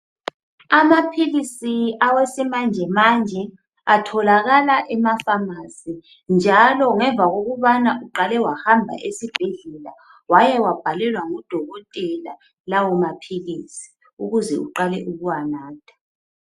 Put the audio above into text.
amaphilisi awesimanjemanje atholakala emaphamarcy njalo ngemva kokubana uqale wahamba esibhedlela wayawabhalelwa ngudokotela lawo maphilisi ukuze uqale ukuwanatha